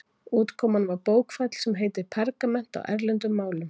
Útkoman var bókfell, sem heitir pergament á erlendum málum.